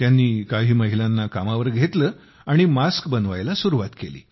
त्यांनी काही महिलांना कामावर घेतले आणि मास्क बनवायला सुरुवात केली